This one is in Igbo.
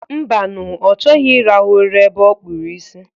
Mbanu, ọ chọghị irahụ ụra ebe ọ kpụrụ isi.